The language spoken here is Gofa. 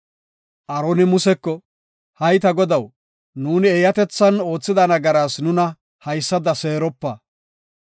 Aaroni Museko, “Hay ta godaw, nuuni eeyatethan oothida nagaraas nuna haysada seeropa.